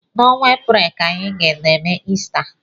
N'ọnwa Eprel ka anyị n'eme Ista.